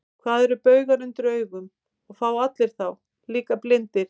Hvað eru baugar undir augum, og fá allir þá, líka blindir?